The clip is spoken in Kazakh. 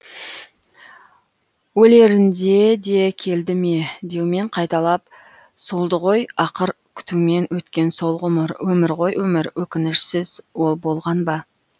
өлерінде де келді ме деумен қайталап солды ғой ақыр күтумен өткен сол ғұмыр өмір ғой өмір өкінішсіз ол болған ба